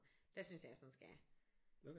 Der synes jeg jeg sådan skal